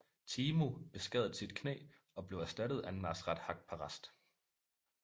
Teemu beskadede sit knæ og blev erstattet af Nasrat Haqparast